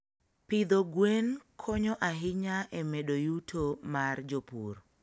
Pidho gwen konyo ahinya e medo yuto mar jopur.